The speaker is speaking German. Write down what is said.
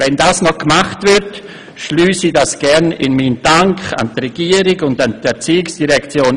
Wenn das noch gemacht wird, schliesse ich das gerne in meinen Dank an die Regierung und an die ERZ ein.